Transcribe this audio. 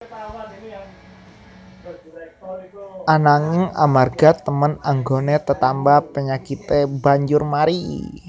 Ananging amarga temen anggoné tetamba penyakité banjur mari